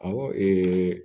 Awɔ